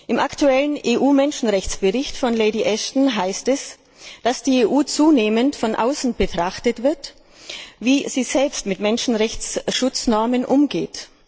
Im aktuellen EU Menschenrechtsbericht von Lady Ashton heißt es, dass zunehmend von außen betrachtet wird, wie die EU selbst mit Menschenrechtsschutznormen umgeht.